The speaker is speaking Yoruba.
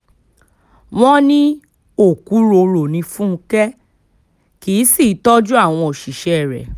wọ́n ní òkúròrò ní fúnkẹ́ kì í sì í tọ́jú àwọn òṣìṣẹ́ rẹ̀